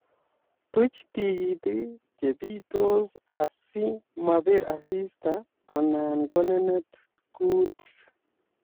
Tuch tikitik che biitos asikmabir asista anan konenet kuutik